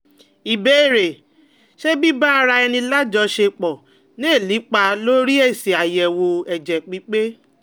Ìbéèrè: Ṣé biba ara eni lajosepo lè nípa lórí esi ayewo ẹ̀jẹ̀ pipe?